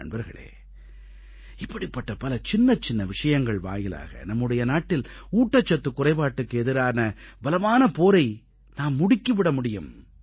நண்பர்களே இப்படிப்பட்ட பல சின்னச்சின்ன விஷயங்கள் வாயிலாக நம்முடைய நாட்டில் ஊட்டச்சத்துக் குறைபாட்டுக்கு எதிரான பலமான போரை நாம் முடுக்கி விட முடியும்